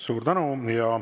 Suur tänu!